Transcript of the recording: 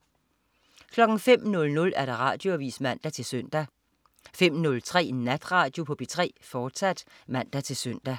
05.00 Radioavis (man-søn) 05.03 Natradio på P3, fortsat (man-søn)